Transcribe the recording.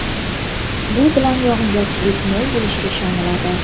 Bu bilan yog‘ingarchilik mo‘l bo‘lishiga ishoniladi.